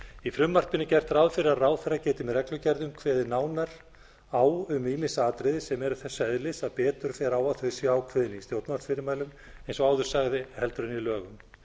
í frumvarpinu er gert ráð fyrir að ráðherra geti með reglugerðum kveðið nánar á um ýmis atriði sem eru þess eðlis að betur fer á að þau séu ákveðin í stjórnarfyrirmælum eins og áður sagði heldur en í lögum